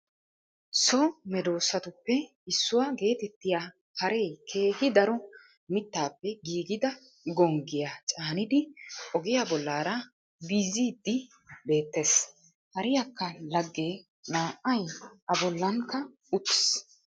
So meeddoosatuppe issuwa geetettiyaa haree keehi daro mittappe giggida gonggiyaa caanidi ogiya bollaraa biyziiddi beettees. Hariyaakkaa laage na'ay a bollankka uttiis.